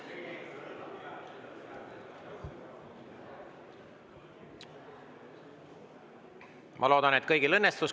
Ma loodan, et kõigil õnnestus.